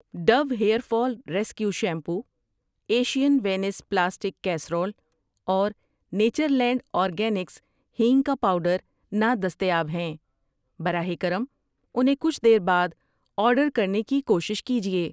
Do hair fall rescue shampoo, Asian Vince plastic casserole اور Natureland Organics hing کا powder نادستیاب ہیں، براہ کرم انہیں کچھ دیر بعد آرڈرکرنے کی کوشش کیجیے۔